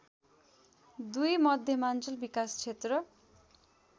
२ मध्यमाञ्चल विकास क्षेत्र